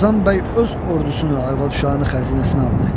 Qazan bəy öz ordusunu, arvad-uşağını xəzinəsinə aldı.